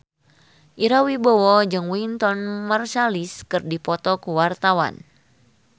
Ira Wibowo jeung Wynton Marsalis keur dipoto ku wartawan